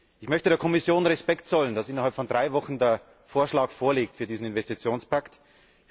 Ich möchte der Kommission dafür Respekt zollen, dass innerhalb von drei Wochen der Vorschlag für diesen Investitionspakt vorliegt.